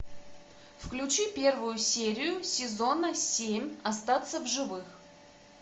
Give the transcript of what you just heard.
включи первую серию сезона семь остаться в живых